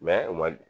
u ma